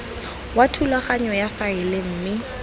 wa thulaganyo ya faele mme